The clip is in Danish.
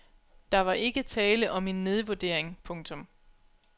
Der var ikke tale om en nedvurdering. punktum